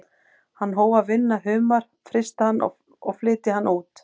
Hann hóf að vinna humar, frysta hann og flytja hann út.